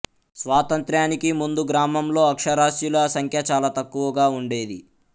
స్వాతంత్య్రానికి ముందు గ్రామంలో అక్షరాస్యుల సంఖ్య చాలా తక్కువగా ఉండేది